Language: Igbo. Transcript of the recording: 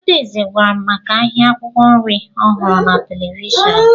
Adaeze gwara m maka ahịa akwụkwọ nri ọ hụrụ na televishọnụ